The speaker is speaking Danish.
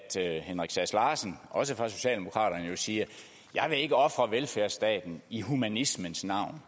herre henrik sass larsen også fra socialdemokraterne siger jeg vil ikke ofre velfærdsstaten i humanismens navn